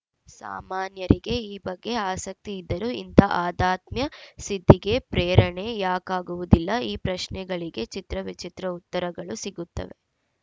ಸಾಮಾನ್ಯರಿಗೆ ಈ ಬಗ್ಗೆ ಆಸಕ್ತಿ ಇದ್ದರೂ ಇಂಥ ಆಧ್ಯಾತ್ಮ ಸಿದ್ಧಿಗೆ ಪ್ರೇರಣೆ ಯಾಕಾಗುವುದಿಲ್ಲ ಈ ಪ್ರಶ್ನೆಗಳಿಗೆ ಚಿತ್ರ ವಿಚಿತ್ರ ಉತ್ತರಗಳು ಸಿಗುತ್ತವೆ